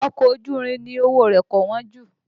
Ọkọ̀ ojú irin ni owó rẹ̀ kò wọ́n jù